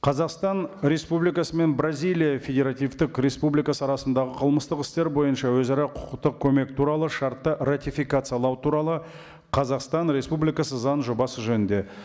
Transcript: қазақстан республикасы мен бразилия федеративтік республикасы арасындағы қылмыстық істер бойынша өзара құқықтық көмек туралы шартты ратификациялау туралы қазақстан республикасы заңының жобасы жөнінде